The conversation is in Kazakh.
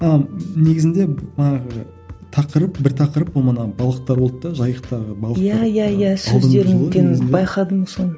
а негізінде манағы тақырып бір тақырып ол манағы балықтар болды да жайықтағы балықтар иә иә иә сөздеріңнен байқадым соны